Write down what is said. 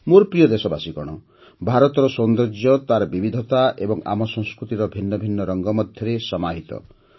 ମୋର ପ୍ରିୟ ଦେଶବାସୀଗଣ ଭାରତର ସୌନ୍ଦର୍ଯ୍ୟ ତାର ବିବିଧତା ଏବଂ ଆମ ସଂସ୍କୃତିର ଭିନ୍ନ ଭିନ୍ନ ରଙ୍ଗ ମଧ୍ୟରେ ସମାହିତ